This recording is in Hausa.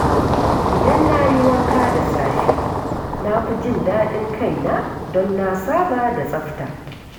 Idan na yi wanka da safe, na fi jin daɗin kaina don na saba da tsafta.